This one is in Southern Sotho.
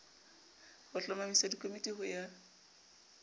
a hlomamisa dikomiti ho ya